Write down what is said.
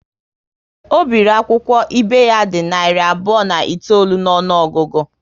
Ọ biri akwụkwọ ibe ya dị narị abụọ na itoolu n'ọnụogugu